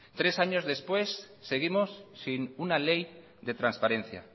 tres años después seguimos sin una ley de transparencia